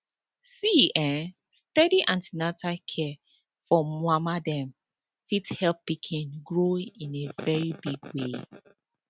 see[um]steady an ten atal care for mama dem fit help pikin grow in a very big way